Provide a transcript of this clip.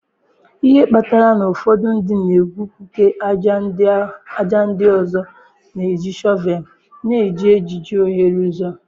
Ihe kpatara na ụfọdụ ndị na-egwupụta ájá, ndị ọzọ na-eji shọvelu na-eji ejiji oghere ụzọ